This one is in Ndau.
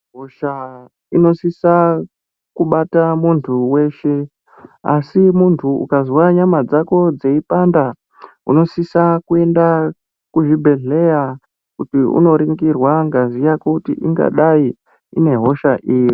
Hosha inosisa kubata muntu weshe. Asi muntu ukazwa nyama dzako dzeipanda, unosisa kuenda kuzvibhedhleya. Kuti unoringirwa ngazi yako kuti ingadai inehosha iri.